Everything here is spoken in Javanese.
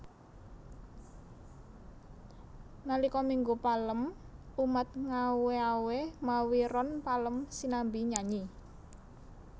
Nalika Minggu Palem umat ngawé awé mawi ron palem sinambi nyanyi